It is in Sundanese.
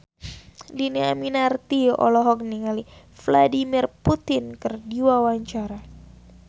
Dhini Aminarti olohok ningali Vladimir Putin keur diwawancara